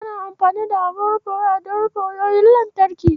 Ana amfani da abun rufe waya don rufe wayoyin lantarki.